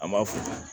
An b'a f'u ye